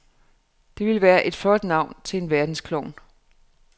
Det ville være et flot navn til en verdensklovn.